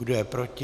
Kdo je proti?